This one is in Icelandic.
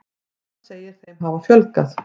Hann segir þeim hafa fjölgað.